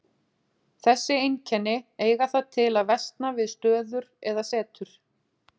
Þessi einkenni eiga það til að versna við stöður eða setur.